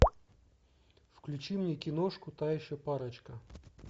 включи мне киношку та еще парочка